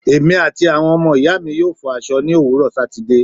Èmi àti àwọn ọmọ ìyáàmi yóò fọ aṣọ ní òwúrò Sátìde.